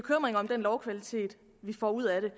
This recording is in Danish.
lovkvalitet vi får ud af det